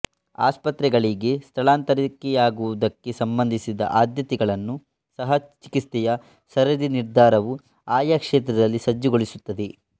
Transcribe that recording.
ಆಸ್ಪತ್ರೆಗಳಿಗೆ ಸ್ಥಳಾಂತರಿಕೆಯಾಗುವುದಕ್ಕೆ ಸಂಬಂಧಿಸಿದ ಆದ್ಯತೆಗಳನ್ನೂ ಸಹ ಚಿಕಿತ್ಸೆಯ ಸರದಿ ನಿರ್ಧಾರವು ಆಯಾ ಕ್ಷೇತ್ರದಲ್ಲಿ ಸಜ್ಜುಗೊಳಿಸುತ್ತದೆ